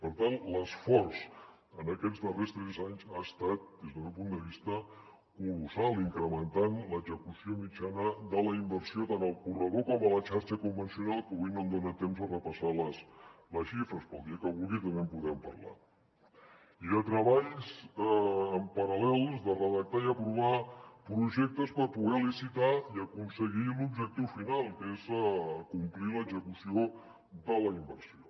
per tant l’esforç en aquests darrers tres anys ha estat des del meu punt de vista colossal incrementant l’execució mitjana de la inversió tant al corredor com a la xarxa convencional que avui no em dona temps de repassar les xifres però el dia que vulgui també en podem parlar i de treballs en paral·lel de redactar i aprovar projectes per poder licitar i aconseguir l’objectiu final que és complir l’execució de la inversió